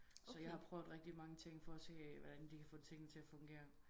Så jeg har prøvet rigtig mange ting for at se hvordan de kan få tingene til at fungere